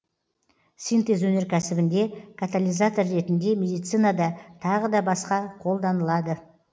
синтез өнеркәсібінде катализатор ретінде медицинада тағыда басқа қолданылады